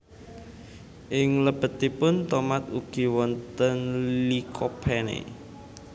Ing lebetipun tomat ugi wonten Lycopene